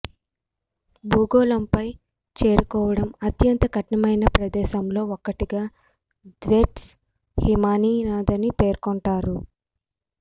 భూగోళంపై చేరుకోవడం అత్యంత కఠినమైన ప్రదేశాల్లో ఒకటిగా థ్వైట్స్ హిమానీ నదాన్ని పేర్కొంటారు